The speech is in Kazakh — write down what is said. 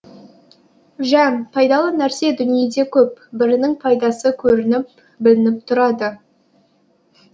жә пайдалы нәрсе дүниеде көп бірінің пайдасы көрініп білініп тұрады